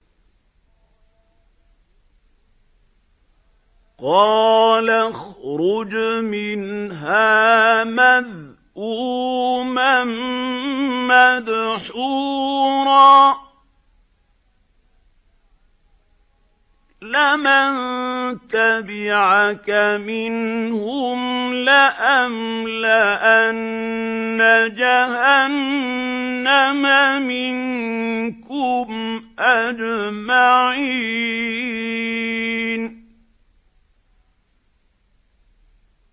قَالَ اخْرُجْ مِنْهَا مَذْءُومًا مَّدْحُورًا ۖ لَّمَن تَبِعَكَ مِنْهُمْ لَأَمْلَأَنَّ جَهَنَّمَ مِنكُمْ أَجْمَعِينَ